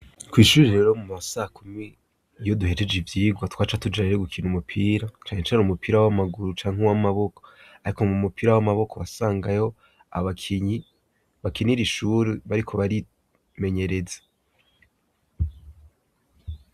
Kw'ishure rero mu ma sakumi iyo duhejeje ivyigwa twaca tujayo gukina umupira, canecane umupira w'amaguru canke w'amaboko, ariko mu mupira w'amaboko, wasangayo abakinyi bakinira ishure bariko barimenyereza.